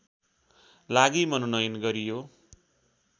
लागि मनोनयन गरियो